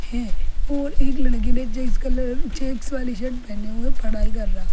है और एक लड़की ने चेक्स कलर चेक्स वाली शर्ट पहने हुए पढ़ाई कर रहा --